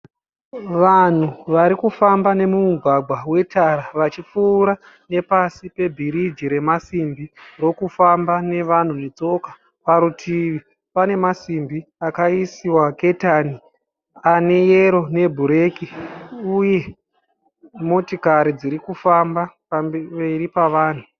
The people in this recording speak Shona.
Vanhu varikufamba nemumugwagwa wetara. Vachipfuura nepasi pebhiriji remasimbi rokufamba nevanhu vetsoka. Parutivi pane masimbi akaisiwa ketani aneyero nebhureki. Uye motokari dzirikufamba pamberi pavanhu.